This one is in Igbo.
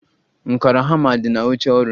Nkàrà hama di na oche ọrụ